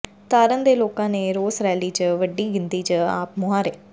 ਤਾਰਨ ਦੇ ਲੋਕਾਂ ਨੇ ਰੋਸ ਰੈਲੀ ਚ ਵੱਡੀ ਗਿਣਤੀ ਚ ਆਪ ਮੁਹਾਰੇ